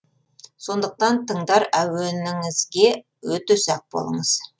сондықтан тыңдар әуеніңізге өте сақ болыңыз